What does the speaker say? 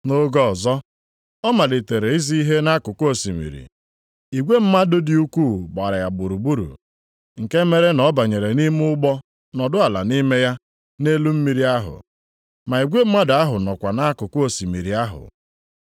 Nʼoge ọzọ, ọ malitere izi ihe nʼakụkụ osimiri. Igwe mmadụ dị ukwuu gbara ya gburugburu, nke mere na ọ banyere nʼime ụgbọ nọdụ ala nʼime ya nʼelu mmiri ahụ, ma igwe mmadụ ahụ nọkwa nʼakụkụ osimiri ahụ.